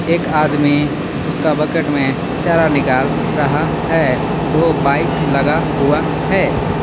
एक आदमी उसका बकेट में चारा निकाल रहा है। दो बाइक लगा हुआ है।